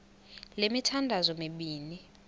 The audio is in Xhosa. le mithandazo mibini